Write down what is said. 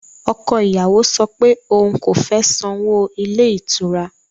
Ọkọ ìyàwó sọ pé òun kò fẹ́ sanwó ilé ìtura